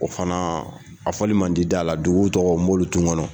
O fana a fɔli man di da la, dugu tɔgɔ Moritumanɔ.